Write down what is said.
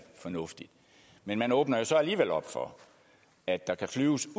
fornuftigt men man åbner jo så alligevel op for at der kan flyves